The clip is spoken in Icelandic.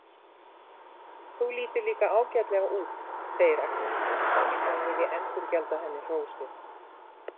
Þú lítur líka ágætlega út, segir Agnes eins og hún vilji endurgjalda henni hrósið.